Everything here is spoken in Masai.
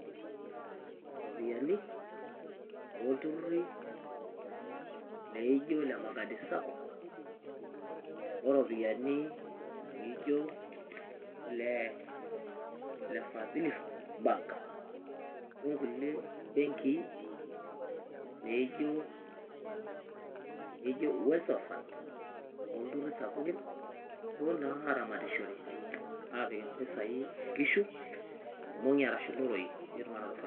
Iropiyiani olturruri laijio ile Magadi Sacco, o ropiyiani naijio ile Fdhili Bank onkulie benkii naijio Uwezo Fund olturruri sapukin, neponunui naa aramatishore aapik impisai inkishu; irmong'i arashu iloroi piitum anoto faida.